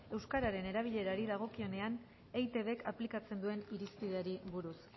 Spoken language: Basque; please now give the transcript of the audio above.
euskararen erabilpenari dagokionean eitbk aplikatzen duen irizpideari buruz